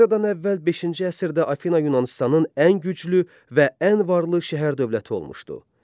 Eradan əvvəl beşinci əsrdə Afina Yunanıstanın ən güclü və ən varlı şəhər dövləti olmuşdu.